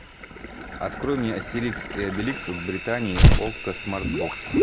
открой мне астерикс и обеликс в британии окко смарт бокс